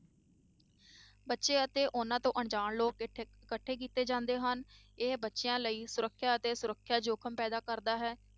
ਬੱਚੇ ਅਤੇ ਉਹਨਾਂ ਤੋਂ ਅਣਜਾਣ ਲੋਕ ਇਕੱਠੇ ਕੀਤੇ ਗਏ, ਇਹ ਬੱਚਿਆਂ ਲਈ ਸੁਰੱਖਿਆ ਅਤੇ ਸੁਰੱਖਿਆ ਜੋਖ਼ਿਮ ਪੈਦਾ ਕਰਦਾ ਹੈ,